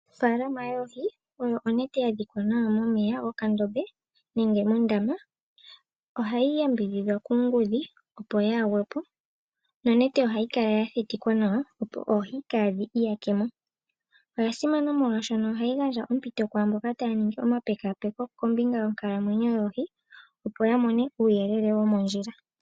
Ofaalama yoohi oyo onete ya dhikwa nawa momeya gokandombe nege mondama. Ohayi yambidhidhwa kuungudhi, opo yaa gwepo nonete ohayi kala ya thitikwa nawa, opo oohi kaadhi iyake mo. Oya simana molwashoka ohayi gandja ompito kwaa mboka taya niingi omapekapeko kombinga yonkalamwenyo yoohi, opo ya mone uuyelele womondjila.